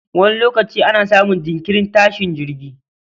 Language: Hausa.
Wani lokaci ana samun jinkirin tashin jirgi